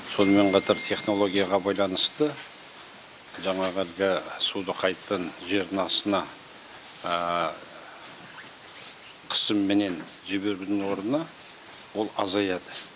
сонымен қатар технологияға байланысты жаңағы әлгі суды қайтадан жердің астына кысымменен жіберудің орнына ол азаяды